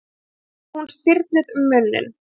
spurði hún stirðnuð um munninn.